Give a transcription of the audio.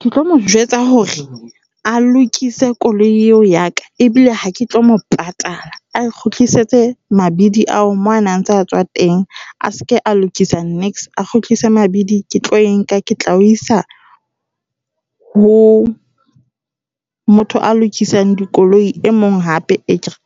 Ke tlo mo jwetsa hore a lokise koloi eo ya ka ebile ha ke tlo mo patala. A e kgutlisetse mabedi ao mo ana a ntse a tswa teng, a seke a lokisa niks. A kgutlise mabidi ke tlo e nka ke tla e isa ho motho a lokisang dikoloi e mong hape,